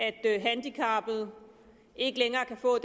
at handicappede ikke længere kan få